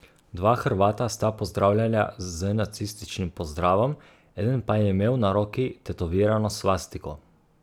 Dva Hrvata sta pozdravljala z nacističnim pozdravom, eden pa je imel na roki tetovirano svastiko.